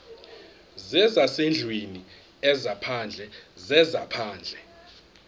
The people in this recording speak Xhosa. zezasendlwini ezaphandle zezaphandle